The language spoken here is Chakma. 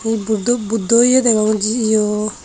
hi buddo buddoye degong jiyo.